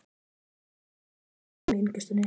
Það var búið að stafla upp fjölum í innkeyrslunni.